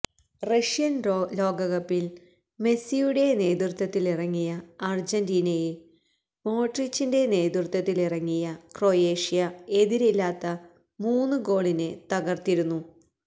Russian ലോകകപ്പില് മെസിയുടെ നേതൃത്വത്തിലിറങ്ങിയ അര്ജന്റീനയെ മോഡ്രിച്ചിന്റെ നേതൃത്വത്തിലിറങ്ങിയ ക്രൊയേഷ്യ എതിരില്ലാത്ത മൂന്നു ഗോളിന് തകര്ത്തിരുന്നു